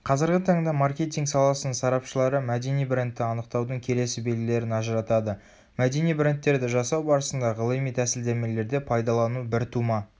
қазіргі таңда маркетинг саласының сарапшылары мәдени брендті анықтаудың келесі белгілерін ажыратады мәдени брендтерді жасау барысында ғылыми тәсілдемелерде пайдалану біртума